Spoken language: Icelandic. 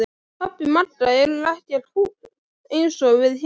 Pabbi Magga er ekkert fúll eins og við héldum!